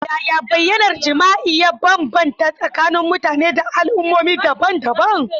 Yaya bayyanar jima'i ya bambanta tsakanin mutane da al'ummomi daban-daban?